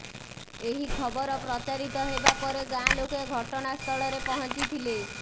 ଏହି ଖବର ପ୍ରଚାରିତ ହେବା ପରେ ଗାଁ ଲୋକେ ଘଟଣାସ୍ଥଳରେ ପହଞ୍ଚିଥିଲେ